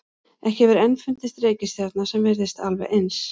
Ekki hefur enn fundist reikistjarna sem virðist alveg eins.